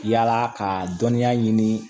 Yala ka dɔnniya ɲini